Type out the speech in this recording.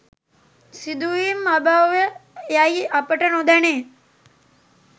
සිදුවීම් අභව්‍ය යැයි අපට නොදැනේ